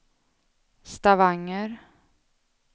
Stavanger